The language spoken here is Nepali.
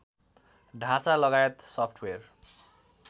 ढाँचा लगायत सफ्टवेर